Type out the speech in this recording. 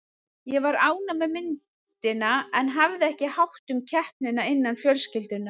Ég var ánægð með myndina en hafði ekki hátt um keppnina innan fjölskyldunnar.